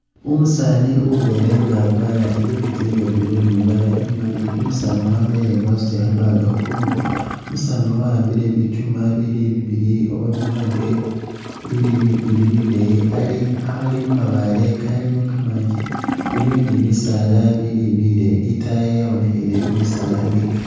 Umusaani ubeele nga akwara i'jacket iye blue ne imbaale imaali, umusaani wabeele nga asuta kha bag khu Kongo, umusaani uyu awambile bichuuma ibili bibili oba bilange ibili buleeyi ali akhaali mu mabaale kamanji biliwo ne bisaala bileeyi itaayi yabonekheleyo bisaala ibili bikaali.